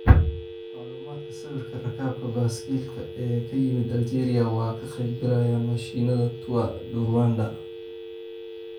Macluumaadka Sawirka, Rakaabka baaskiilka ee ka yimid Aljeeriya waa ka qeyb galayaan mashiinada Tour du Rwanda.